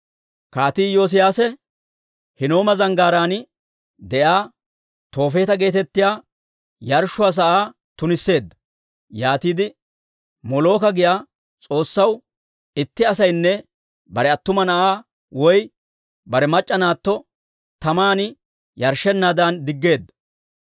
Kaatii Iyoosiyaase Hinnooma Zanggaaraan de'iyaa Toofeeta geetettiyaa yarshshuwaa sa'aa tunisseedda. Yaatiide Molooka giyaa s'oossaw itti asaynne bare attuma na'aa woy bare mac'c'a naatto taman yarshshenaadan diggeedda.